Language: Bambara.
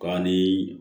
Ka ni